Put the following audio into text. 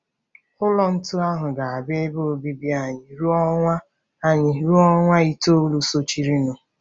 Ụlọ ntu ahụ ga-abụ ebe obibi anyị ruo ọnwa anyị ruo ọnwa itoolu sochirinụ.